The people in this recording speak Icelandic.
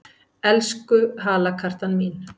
Elsku halakartan mín!